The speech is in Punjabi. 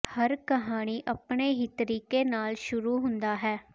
ਹਰ ਕਹਾਣੀ ਆਪਣੇ ਹੀ ਤਰੀਕੇ ਨਾਲ ਸ਼ੁਰੂ ਹੁੰਦਾ ਹੈ